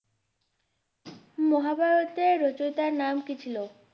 মহাভারতের রচয়িতার নাম কি ছিল?